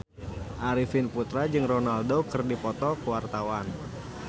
Arifin Putra jeung Ronaldo keur dipoto ku wartawan